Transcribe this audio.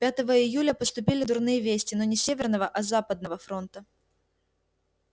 пятого июля поступили дурные вести но не с северного а с западного фронта